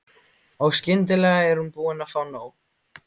Og skyndilega er hún búin að fá nóg.